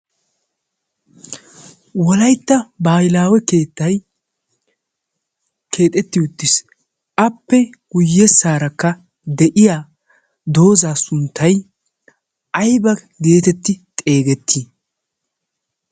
wolaytta baalaawe keettay keexetti uttiis. appe guyyessaarakka de'iya doozaa sunttai aiba geetetti xeegettii?